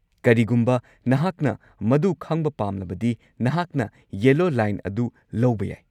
ꯀꯔꯤꯒꯨꯝꯕ ꯅꯍꯥꯛꯅ ꯃꯗꯨ ꯈꯪꯕ ꯄꯥꯝꯂꯕꯗꯤ, ꯅꯍꯥꯛꯅ ꯌꯦꯂꯣ ꯂꯥꯏꯟ ꯑꯗꯨ ꯂꯧꯕ ꯌꯥꯏ꯫